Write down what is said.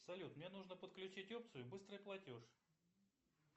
салют мне нужно подключить опцию быстрый платеж